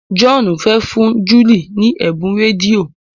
John fè fún Julie ní Ebun rédíò.